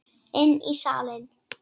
Inn í salinn.